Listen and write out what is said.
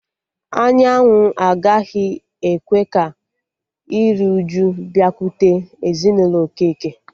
Anyanwụ agaghị ekwe ka iriuju bịakwute ezinụlọ Okeke